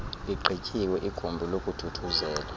igqityiwe igumbi lokuthuthuzela